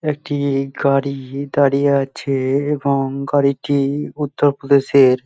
একটি গাড়ি দাঁড়িয়ে আছে এবং গাড়িটি উত্তরপ্রদেশের।